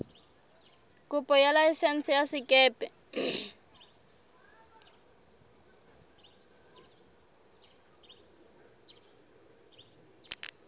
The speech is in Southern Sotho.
kopo ya laesense ya sekepe